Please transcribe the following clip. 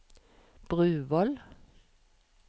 Bruvoll